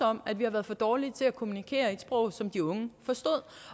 om at vi har været for dårlige til at kommunikere i et sprog som de unge forstod